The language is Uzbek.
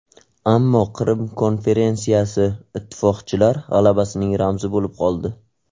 Ammo Qrim konferensiyasi Ittifoqchilar g‘alabasining ramzi bo‘lib qoldi.